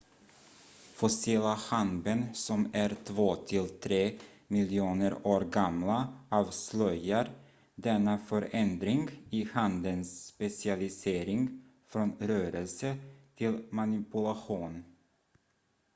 fossila handben som är två till tre miljoner år gamla avslöjar denna förändring i handens specialisering från rörelse till manipulation